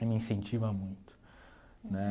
E me incentiva muito nè.